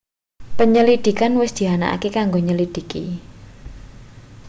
penyelidikan wis dianakake kanggo nyelidhiki